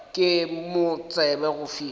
ke mo tsebe go fihla